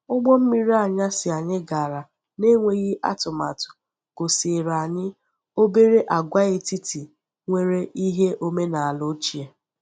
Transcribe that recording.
Ụgbọ mmiri anyasị anyị gara n’enweghị atụmatụ gosiere anyị obere agwaetiti nwere ihe omenaala ochie.